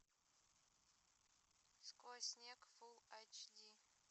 сквозь снег фулл эйч ди